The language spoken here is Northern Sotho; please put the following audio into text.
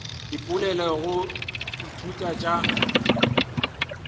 dipoelo tša go ithuta tša